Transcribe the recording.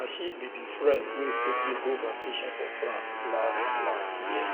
na she um be the friend wey um take me go vacation for france last last year